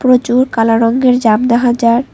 প্রচুর কালা রঙ্গের জাম দেখা যার।